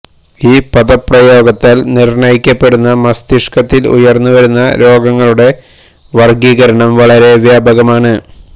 ഈ പദപ്രയോഗത്താൽ നിർണയിക്കപ്പെടുന്ന മസ്തിഷ്കത്തിൽ ഉയർന്നുവരുന്ന രോഗങ്ങളുടെ വർഗ്ഗീകരണം വളരെ വ്യാപകമാണ്